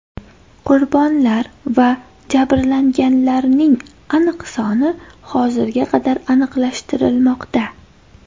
Qurbonlar va jabrlanganlarning aniq soni hozirga qadar aniqlashtirilmoqda.